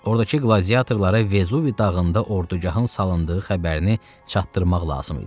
Ordakı qladiatorlara Vezuvi dağında ordagahın salındığı xəbərini çatdırmaq lazım idi.